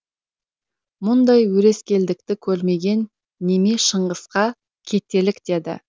мұндай өрескелдікті көрмеген неме шыңғысқа кетелік деді